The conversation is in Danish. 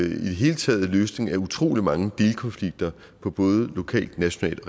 i det hele taget en løsning af utrolig mange delkonflikter på både lokalt nationalt og